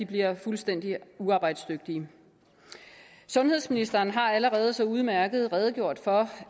bliver fuldstændig uarbejdsdygtige sundhedsministeren har allerede så udmærket redegjort for